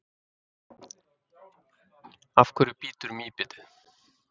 af hverju bítur mýbitið